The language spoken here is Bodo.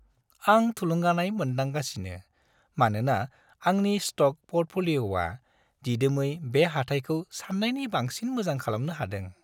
आं थुलुंगानाय मोनदांगासिनो मानोना आंनि स्ट'क प'र्टफ'लिय'आ दिदोमै बे हाथाइखौ साननायनि बांसिन मोजां खालामनो हादों।